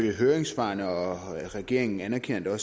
i høringssvarene og regeringen anerkender